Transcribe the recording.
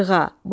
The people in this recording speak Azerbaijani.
Sırğa.